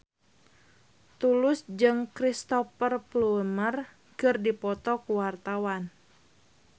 Tulus jeung Cristhoper Plumer keur dipoto ku wartawan